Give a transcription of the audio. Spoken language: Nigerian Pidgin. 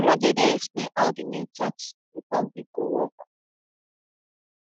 olojede explain how di new tax reform bill go work